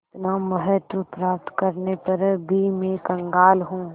इतना महत्व प्राप्त करने पर भी मैं कंगाल हूँ